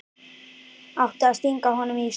Átti að stinga honum í Steininn?